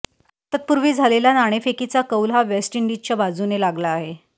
तत्पूर्वी झालेला नाणेफेकीचा कौल हा वेस्टइंडिजच्या बाजूने लागला आहे